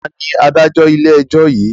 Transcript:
Taàní Adájọ́ ilé ẹjọ́ yìí?